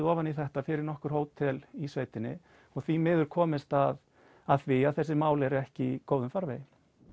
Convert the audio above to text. ofan í þetta fyrir nokkur hótel í sveitinni og því miður komist að að því að þessi mál eru ekki í góðum farvegi